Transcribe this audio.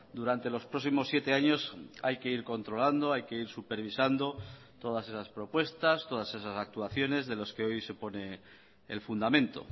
durante los próximos siete años hay que ir controlando hay que ir supervisando todas esas propuestas todas esas actuaciones de los que hoy se pone el fundamento